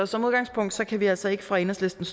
som udgangspunkt kan vi altså ikke fra enhedslistens